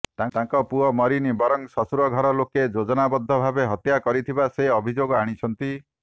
ତାଙ୍କ ପୁଅ ମରିନି ବରଂ ଶ୍ୱଶୁର ଘର ଲୋକେ ଯୋଜନାବଦ୍ଧ ଭାବେ ହତ୍ୟା କରିଥିବା ସେ ଅଭିଯୋଗ ଆଣିଛନ୍ତି